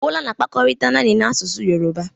Bola na-akpakọrịta naanị na asụsụ yoruba.